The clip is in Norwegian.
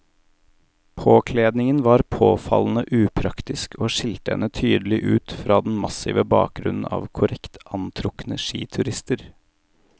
Påkledningen var påfallende upraktisk og skilte henne tydelig ut fra den massive bakgrunnen av korrekt antrukne skiturister.